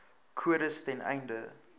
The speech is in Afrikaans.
kodes ten einde